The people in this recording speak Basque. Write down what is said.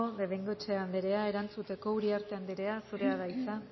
bengoechea anderea erantzuteko uriarte anderea zurea da hitza